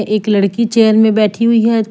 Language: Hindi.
एक लड़की चेयर मे बैठी हुई है ।